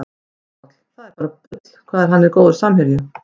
Haukur Páll, það er bara bull hvað hann er góður samherji